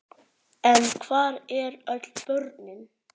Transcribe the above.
En hvar eru öll börnin?